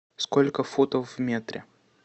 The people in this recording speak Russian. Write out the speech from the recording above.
сколько футов в метре